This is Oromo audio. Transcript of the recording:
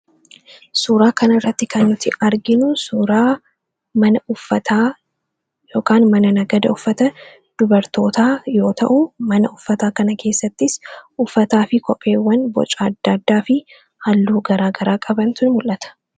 Suuraa kanarratti kan nuti arginu suuraa mana uffata yookiin mana nagada uffata dubartootaa yoo ta’u, mana uffataa kana keessattis uffataa fi kopheewwan boca adda addaafi halluu gara garaa qabantu mul'ata.